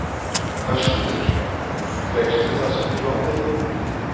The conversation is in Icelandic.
Höskuldur: Fékkstu það sem þig langaði í?